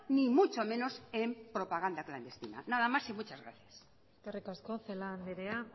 ni mucho menos en propaganda clandestina nada mas y muchas gracias eskerrik asko celaá andrea